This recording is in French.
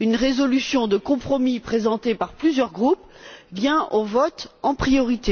une résolution de compromis présentée par plusieurs groupes vient au vote en priorité.